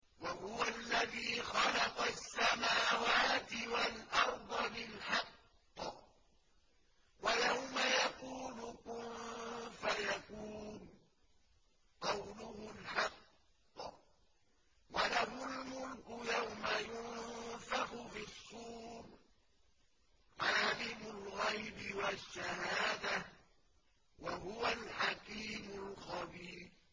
وَهُوَ الَّذِي خَلَقَ السَّمَاوَاتِ وَالْأَرْضَ بِالْحَقِّ ۖ وَيَوْمَ يَقُولُ كُن فَيَكُونُ ۚ قَوْلُهُ الْحَقُّ ۚ وَلَهُ الْمُلْكُ يَوْمَ يُنفَخُ فِي الصُّورِ ۚ عَالِمُ الْغَيْبِ وَالشَّهَادَةِ ۚ وَهُوَ الْحَكِيمُ الْخَبِيرُ